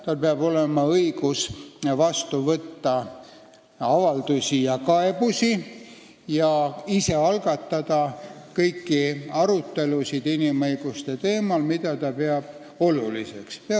Tal peab olema õigus vastu võtta avaldusi ja kaebusi ning ise algatada kõiki arutelusid inimõiguste teemal, mida ta oluliseks peab.